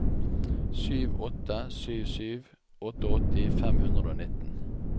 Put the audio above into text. sju åtte sju sju åttiåtte fem hundre og nitten